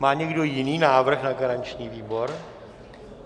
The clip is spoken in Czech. Má někdo jiný návrh na garanční výbor?